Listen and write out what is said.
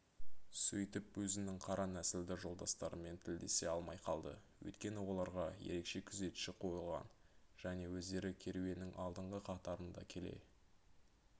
сөйтіп өзінің қара нәсілді жолдастарымен тілдесе алмай қалды өйткені оларға ерекше күзетші қойылған және өздері керуеннің алдыңғы қатарында келе